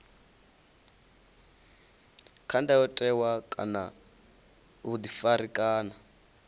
kha ndayotewa kana vhuḓifari kana